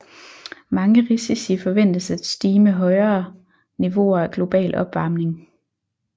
Mange risici forventes at stige med højere niveauer af global opvarmning